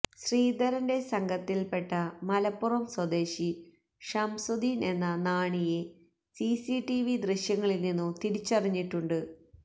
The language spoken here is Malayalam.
ശ്രീധരന്റെ സംഘത്തില്പെട്ട മലപ്പുറം സ്വദേശി ഷംസുദ്ദീന് എന്ന നാണിയെ സിസിടിവി ദൃശ്യങ്ങളില്നിന്നു തിരിച്ചറിഞ്ഞിട്ടുണ്ട്